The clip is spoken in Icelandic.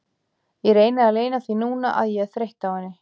Ég reyni að leyna því núna að ég er þreytt á henni.